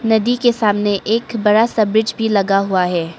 नदी के सामने एक बड़ा सा ब्रिज भी लगा हुआ है।